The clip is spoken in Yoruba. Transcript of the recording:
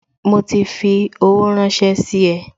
Mo ti fi owó ranse sí e